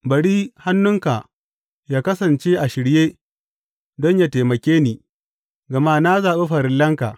Bari hannunka yă kasance a shirye don yă taimake ni, gama na zaɓi farillanka.